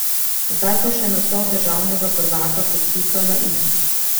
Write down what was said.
Zdaj pa še naslov državnega prvaka kot pika na i.